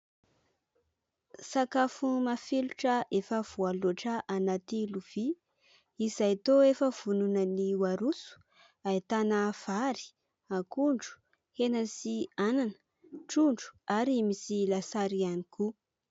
Sakafo mafilotra efa voaloatra anaty lovia izay toa efa vonona ny ho aroso. Ahitana vary, akondro, hena sy anana, trondro ary misy lasary ihany koa.